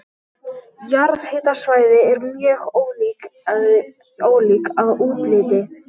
Jarðhitasvæði eru mjög ólík að útliti.